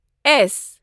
S